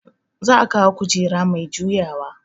Za a kawo kujera mai juyawa